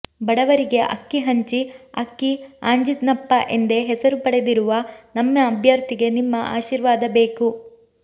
ಬಡವರಿಗೆ ಅಕ್ಕಿ ಹಂಚಿ ಅಕ್ಕಿ ಆಂಜಿನಪ್ಪ ಎಂದೇ ಹೆಸರು ಪಡೆದಿರುವ ನಮ್ಮ ಅಭ್ಯರ್ಥಿಗೆ ನಿಮ್ಮ ಆಶೀರ್ವಾದ ಬೇಕು